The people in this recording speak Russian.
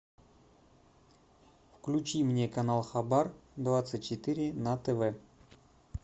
включи мне канал хабар двадцать четыре на тв